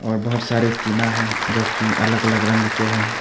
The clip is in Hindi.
और बहोत सारे टीना है जोकि अलग अलग रंग के हैं।